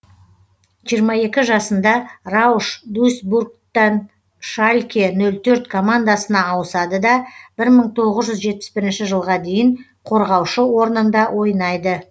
жиырма екі жасында рауш дуйсбургтан шальке нөл төрт командасына ауысады да бір мың тоғыз жүз жетпіс бірінші жылға дейін қорғаушы орнында ойнайды